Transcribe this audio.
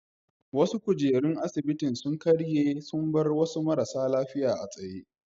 Wasu kujerun asibitin sun karye sun bar wasu marasa lafiya a tsaye.